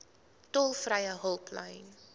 tolvrye hulplyn